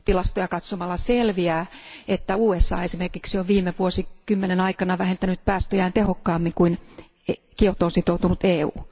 Tilastoja katsomalla selviää, että USA esimerkiksi on viime vuosikymmenen aikana vähentänyt päästöjään tehokkaammin kuin Kiotoon sitoutunut EU.